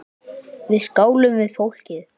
Við skálum við fólkið.